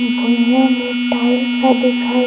भुइया में टाइल्स ह दिखाई --